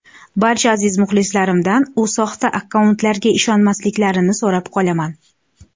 Barcha aziz muxlislarimdan u soxta akkauntlarga ishonmasliklarini so‘rab qolaman.